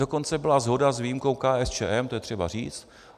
Dokonce byla shoda s výjimkou KSČM, to je třeba říct.